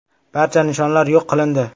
Barcha nishonlar yo‘q qilindi.